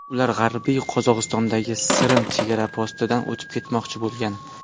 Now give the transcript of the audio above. Ular G‘arbiy Qozog‘istondagi Sirim chegara postidan o‘tib ketmoqchi bo‘lgan.